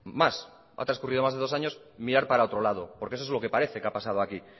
ha transcurrido más de dos años mirar para otro lado porque eso es lo que parece que ha pasado aquí